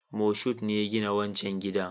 Moshood ne ya gina wancan gidan